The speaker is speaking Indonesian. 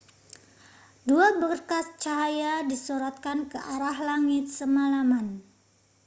dua berkas cahaya disorotkan ke arah langit semalaman